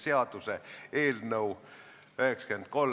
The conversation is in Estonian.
Muudatusettepanek on heaks kiidetud.